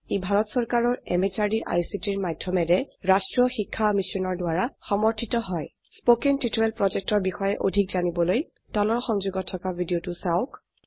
ই ভাৰত চৰকাৰৰ MHRDৰ ICTৰ মাধয়মেৰে ৰাস্ত্ৰীয় শিক্ষা মিছনৰ দ্ৱাৰা সমৰ্থিত হয় spoken টিউটৰিয়েল projectৰ বিষয়ে অধিক জানিবলৈ তলৰ সংযোগত থকা ভিডিঅ চাওক